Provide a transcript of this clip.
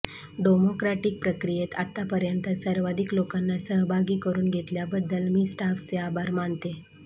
democratic प्रक्रियेत आतापर्यंत सर्वाधिक लोकांना सहभागी करून घेतल्याबद्दल मी स्टाफचे आभार मानते